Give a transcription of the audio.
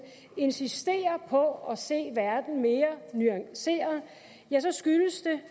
insisterer på at se verden mere nuanceret skyldes det